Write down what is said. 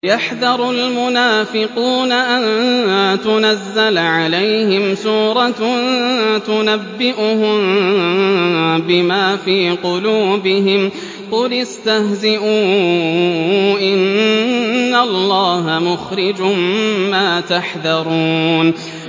يَحْذَرُ الْمُنَافِقُونَ أَن تُنَزَّلَ عَلَيْهِمْ سُورَةٌ تُنَبِّئُهُم بِمَا فِي قُلُوبِهِمْ ۚ قُلِ اسْتَهْزِئُوا إِنَّ اللَّهَ مُخْرِجٌ مَّا تَحْذَرُونَ